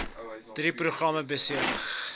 drie programme besig